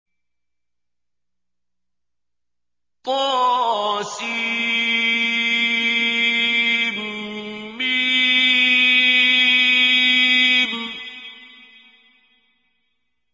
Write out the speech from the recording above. طسم